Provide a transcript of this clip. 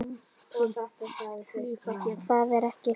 Það er ekki friðað.